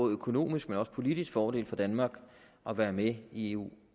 økonomisk og politisk fordel for danmark at være med i eu